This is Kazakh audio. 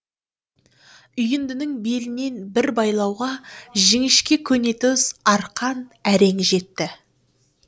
үйіндінің белінен бір байлауға жіңішке көнетоз арқан әрең жетті